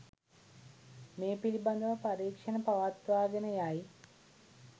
මේ පිළිබඳව පරීක්‍ෂණ පවත්වාගෙන යයි.